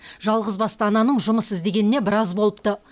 жалғызбасты ананың жұмыс іздегеніне біраз болыпты